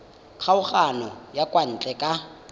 kgokagano ya kwa ntle ka